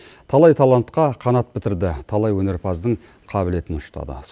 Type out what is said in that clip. талай талантқа қанат бітірді талай өнерпаздың қабілетін ұштады